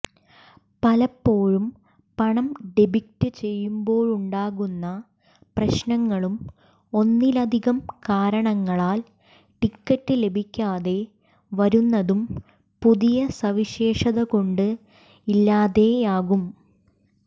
പലപ്പോഴും പണം ഡെബിറ്റ് ചെയ്യുമ്പോഴുണ്ടാകുന്ന പ്രശ്നങ്ങളും ഒന്നിലധികം കാരണങ്ങളാൽ ടിക്കറ്റ് ലഭിക്കാതെ വരുന്നതും പുതിയ സവിശേഷതകൊണ്ട് ഇല്ലാതെയാകും